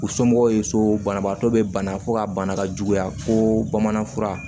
U somɔgɔw ye so banabaatɔ be bana fo ka bana ka juguya fo bamanan fura